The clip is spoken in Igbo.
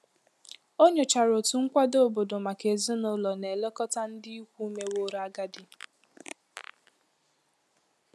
Ọ nyochara otu nkwado obodo maka ezinụlọ na-elekọta ndị ikwu meworo agadi.